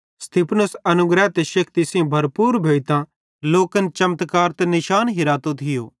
स्तिफनुस अनुग्रह ते शेक्ति सेइं भरपूर भोइतां लोकन चमत्कार ते निशान हिरातो थियो